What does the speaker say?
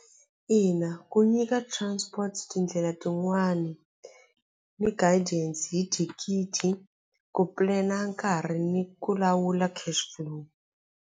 Ina ku nyika transport tindlela tin'wani ni guidance hi thikithi ku plan-a nkarhi ni ku lawula cash flow.